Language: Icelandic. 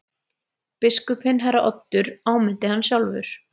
Biskupinn herra Oddur áminnti hann sjálfur.